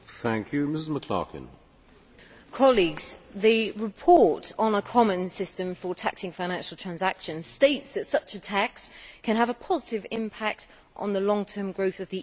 Mr President, the report on a common system for taxing financial transactions states that such a tax can have a positive impact on the long term growth of the EU.